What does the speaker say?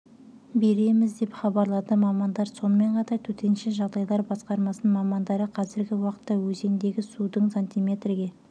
береміз деп хабарлады мамандар сонымен қатар төтенше жағдайлар басқармасының мамандары қазіргі уақытта өзендегі судың сантиметрге